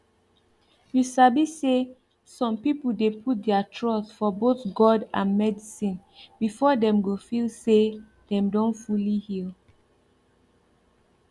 you sabi say some people dey put their trust for both god and medicine before dem go feel say dem don fully heal